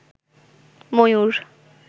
ময়ুর